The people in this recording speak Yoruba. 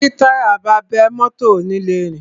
Tí táyà bá bẹ́, mọ́tọ̀ ò ni le rìn.